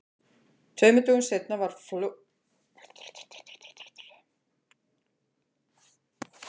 Tveimur dögum seinna var flotinn farinn þegar þau vöknuðu um morguninn.